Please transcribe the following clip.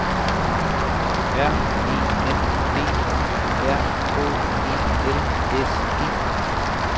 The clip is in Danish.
R E N D Y R K E L S E